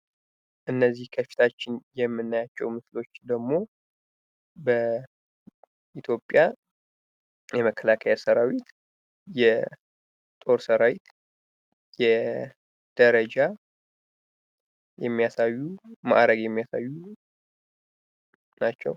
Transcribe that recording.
እነዚህ ከፊታችን የምናያቸው ምስሎች ደግሞ በኢትዮጵያ የመከላከያ ሰራዊት በጦር ሰራዊት የደረጃ የሚያሳዩ የማዕረግ መለዩ ናቸው።